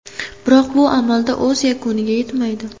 Biroq bu amalda o‘z yakuniga yetmaydi.